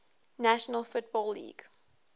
national football league